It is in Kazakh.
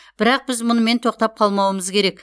бірақ біз мұнымен тоқтап қалмауымыз керек